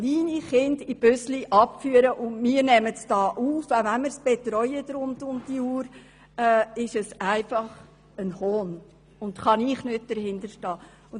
Kleine Kinder in Bussen abzuführen und wir nehmen sie hier auf, selbst wenn wir sie rund um die Uhr betreuen, – das ist einfach ein Hohn, und ich kann nicht dahinterstehen.